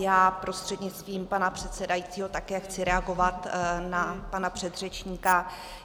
Já prostřednictvím pana předsedajícího také chci reagovat na pana předřečníka.